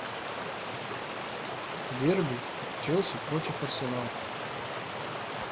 дерби челси против арсенал